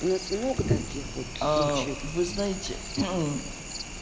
у нас много таких вот случаев вы знаете